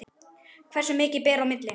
Hversu mikið ber á milli?